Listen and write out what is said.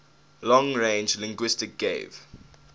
long range linguistics gave